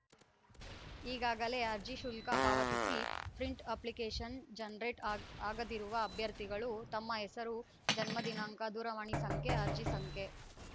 ಈಗಾಗಲೇ ಅರ್ಜಿ ಶುಲ್ಕ ಪಾವತಿಸಿ ಪ್ರಿಂಟ್‌ ಅಪ್ಲಿಕೇಶನ್‌ ಜನರೇಟ್‌ ಆಗ ಆಗದಿರುವ ಅಭ್ಯರ್ಥಿಗಳು ತಮ್ಮ ಹೆಸರು ಜನ್ಮದಿನಾಂಕ ದೂರವಾಣಿ ಸಂಖ್ಯೆ ಅರ್ಜಿ ಸಂಖ್ಯೆ